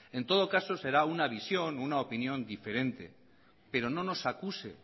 en todo caso será una visión o una opinión diferente pero